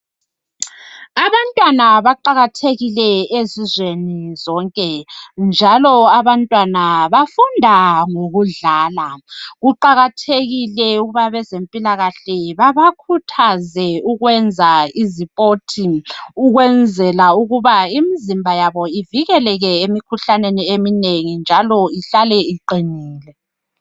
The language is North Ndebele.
Abantwana baqakathekile ezizweni zonke njalo abantwana bafunda ngokudlala. Kuqakathekile ukuba abezempilakahle babakhuthaze ukwenza imidlalo ukwenzela ukuthi imizimba yabo ivikeleke emikhuhlaneni eminengi njalo ihlale iqinile.